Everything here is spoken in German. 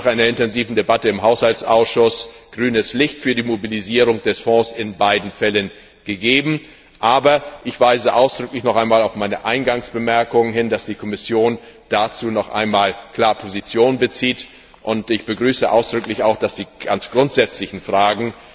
Wir haben nach einer intensiven Debatte im Haushaltsausschuss grünes Licht für die Mobilisierung des Fonds in beiden Fällen gegeben, aber ich weise noch einmal ausdrücklich auf meine Eingangsbemerkung hin, dass die Kommission dazu noch einmal klar Position beziehen möge, und ich begrüße ausdrücklich, dass die ganz grundsätzlichen Fragen